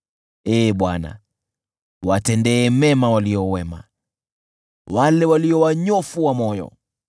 Ee Bwana , watendee mema walio wema, wale walio wanyofu wa moyo.